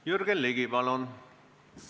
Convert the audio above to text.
Jürgen Ligi, palun!